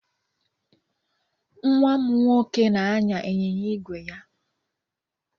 Nwa m nwoke na-anya ịnyịnya ígwè ya.